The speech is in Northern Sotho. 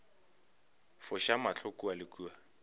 foša mahlo kua le kua